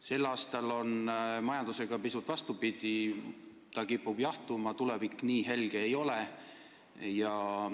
Sel aastal on majandusega pisut vastupidi: ta kipub jahtuma ja tulevik nii helge ei ole.